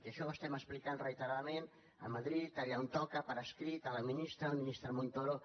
i això ho estem explicant reiteradament a madrid allà on toca per escrit a la ministra al ministre montoro